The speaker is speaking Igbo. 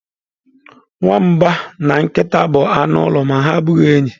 Nwamba na nkịta bụ anụ ụlọ ma ha abụghị enyi.